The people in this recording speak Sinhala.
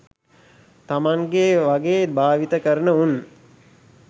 තමන්ගේ වගේ භාවිත කරන උන්